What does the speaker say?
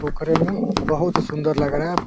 पोखरे में बहुत सुन्दर लग रहा है।